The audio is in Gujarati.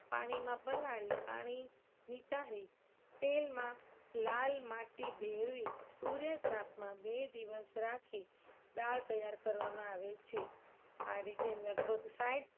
પાણીમાં પલાળી પાણી નિતારી તેલમાં લાલ માટી ભેળવી સૂર્ય તાપમા બે દિવસ રાખી દાળ તૈયાર કરવામાં આવે છે. આ રીતે લગભગ સાઈઠ